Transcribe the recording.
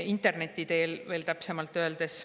Interneti teel, veel täpsemalt öeldes.